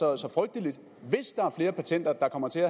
er så frygteligt hvis der er flere patenter der kommer til